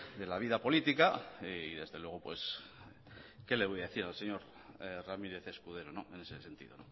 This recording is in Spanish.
de la vida política y desde luego qué le voy a decir al señor ramírez escudero en ese sentido